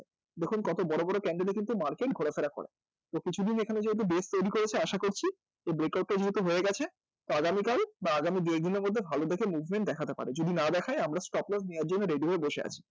দেখুন কত বড় বড় candle এ কিন্তু market ঘোরাফেরা করে তো কিছুদিন এখানে যেহেতু base তৈরী করেছে আশা করছি এ breakout এর মতো হয়ে গেছে তো আগামী কাল বা আগামী দু এক দিনের মধ্যে ভালো দেখে movement দেখাতে পারে যদি না দেখায় আমরা stop loss নেওয়ার জন্য ready হয়ে বসে আছি